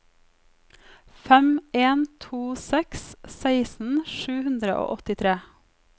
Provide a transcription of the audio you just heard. fem en to seks seksten sju hundre og åttitre